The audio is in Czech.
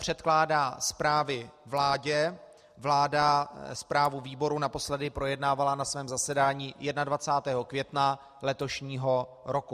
Předkládá zprávy vládě, vláda zprávu výboru naposledy projednávala na svém zasedání 21. května letošního roku.